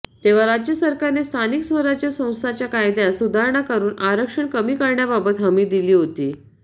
तेव्हा राज्य सरकारने स्थानिक स्वराज्य संस्थांच्या कायद्यात सुधारणा करून आरक्षण कमी करण्याबाबत हमी दिली होती